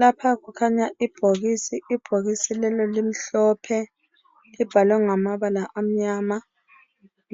lapha kukhanya ibhokisi ibhokisi lelo limhlophe libhalwe ngamabala amnyama